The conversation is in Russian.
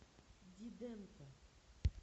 диденко